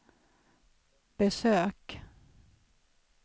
besök